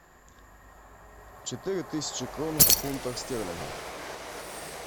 четыре тысячи крон в фунтах стерлингов